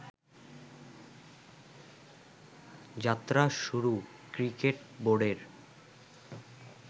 যাত্রা শুরু ক্রিকেট বোর্ডের